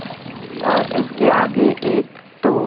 और उसके आगे एक टो--